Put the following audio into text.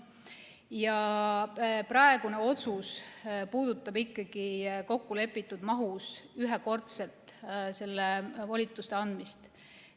Ja praegune otsus puudutab ikkagi kokkulepitud mahus ühekordset volituste andmist.